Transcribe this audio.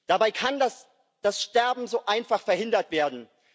Dabei kann das Sterben so einfach verhindert werden.